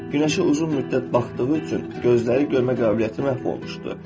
Günəşə uzun müddət baxdığı üçün gözləri görmə qabiliyyəti məhv olmuşdu.